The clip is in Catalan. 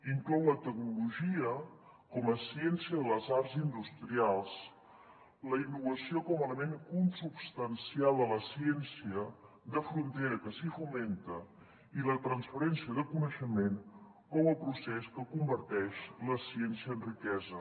inclou la tecnologia com a ciència de les arts industrials la innovació com a element consubstancial a la ciència de frontera que s’hi fomenta i la transferència de coneixement com a procés que converteix la ciència en riquesa